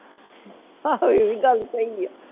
ਆਹੋ ਇਹ ਵੀ ਗੱਲ ਸਹੀ ਆ।